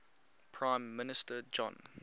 prime minister john